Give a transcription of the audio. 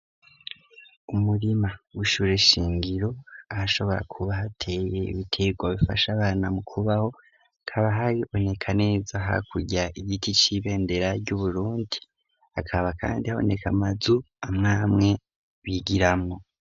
Umurima w'ishure shingiro ahashobora kuba hateye ibitego bifasha abana mu kubaho, hakaba haboneka neza hakurya igiti c'ibendera ry'Uburundi hakaba kandi aboneka amazu amwamwe bigiramwo.